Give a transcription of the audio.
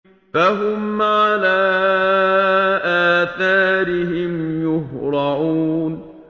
فَهُمْ عَلَىٰ آثَارِهِمْ يُهْرَعُونَ